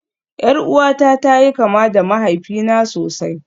Yar uwata ta yi kama da mahaifina sosai